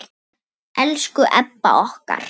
Elsku Ebba okkar.